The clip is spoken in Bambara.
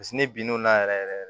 ne bin'o la yɛrɛ yɛrɛ yɛrɛ